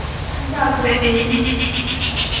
Ntagoloyu.